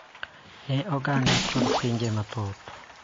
Ne oganda kod pinje mathoth.